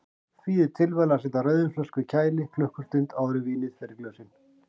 Því er tilvalið að setja rauðvínsflösku í kæli klukkustund áður en vínið fer í glösin.